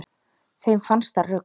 Þeim fannst það rugl